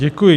Děkuji.